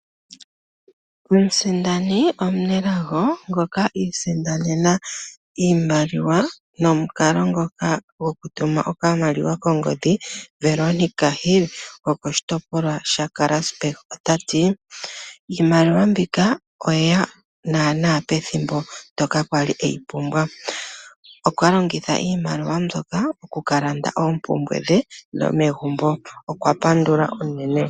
Omusindani omunelago ngoka i isindanena iimaliwa nomukalo ngoka gokutuma okamaliwa kongodhi, Veronica Hill gokoshitopolwa shaKarasburg ota ti: "Iimaliwa mbika oye ya naanaa pethimbo ndyoka a li e yi pumbwa." Okwa longitha iimaliwa mbyoka oku ka landa oompumbwe dhe dhomegumbo. Okwa pandula unene.